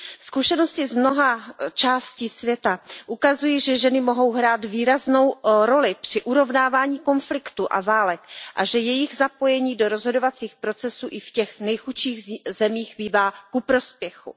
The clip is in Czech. Zkušenosti z mnoha částí světa ukazují, že ženy mohou hrát výraznou roli při urovnávání konfliktů a válek a že jejich zapojení do rozhodovacích procesů i v těch nejchudších zemích bývá ku prospěchu.